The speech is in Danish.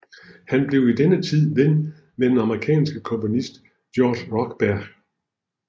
Han blev i denne tid ven med den amerikanske komponist George Rochberg